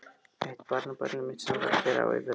Eitt barnabarnið mitt sem var hér á yfirreið.